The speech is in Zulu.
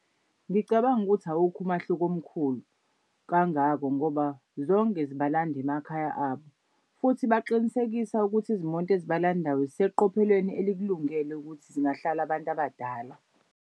Ngicabanga ukuthi awukho umahluko omkhulu kangako ngoba zonke zibalanda emakhaya abo. Futhi baqinisekisa ukuthi izimoto ezibalandayo ziseqophelweni elikulungele ukuthi zingahlali abantu abadala.